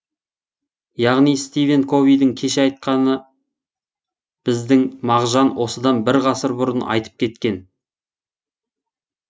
яғни стивен ковидің кеше айтқаны біздің мағжан осыдан бір ғасыр бұрын айтып кеткен